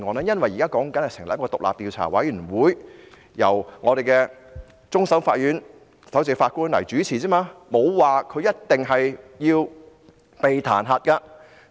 因為現在說的，只是成立一個獨立調查委員會，由終審法院首席法官主持，沒有說她一定會被彈劾。